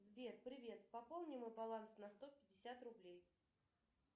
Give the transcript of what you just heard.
сбер привет пополни мой баланс на сто пятьдесят рублей